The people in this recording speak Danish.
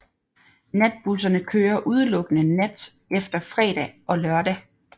Natbusserne kører udelukkende nat efter fredag og lørdag